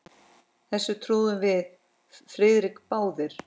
Þessu trúðum við Friðrik báðir.